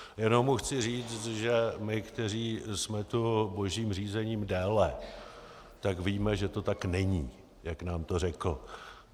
Jenom mu chci říct, že my, kteří jsme tu božím řízením déle, tak víme, že to tak není, jak nám to řekl.